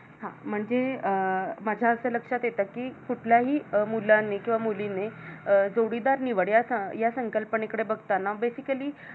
हा म्हणजे अं माझ असं लक्षात येत कि कुठलाही मुलाने किंवा मुलीने जोडीदार निवड या संकल्पने कडे बघताना Basically